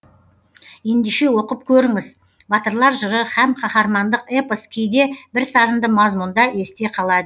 ендеше оқып көріңіз батырлар жыры һәм қаһармандық эпос кейде бірсарынды мазмұнда есте қалады